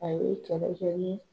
Aye kɛlɛ kɛ ni